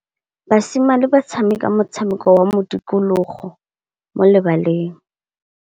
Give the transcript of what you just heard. Basimane ba tshameka motshameko wa modikologô mo lebaleng.